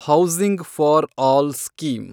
housing for all scheme